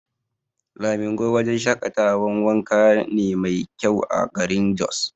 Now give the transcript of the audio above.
Lamingo wajan shaƙatawan wanka ne mai kyau a garin Jos